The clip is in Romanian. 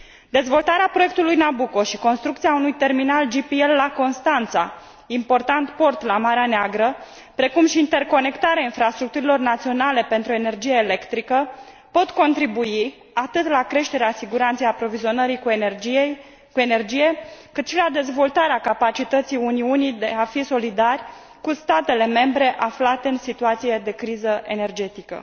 Dezvoltarea proiectului Nabucco și construcția unui terminal GPL la Constanța, important port la Marea Neagră, precum și interconectarea infrastructurilor naționale pentru energie electrică, pot contribui atât la creșterea siguranței aprovizionării cu energie, cât și la dezvoltarea capacității Uniunii de a fi solidari cu statele membre aflate în situație de criză energetică.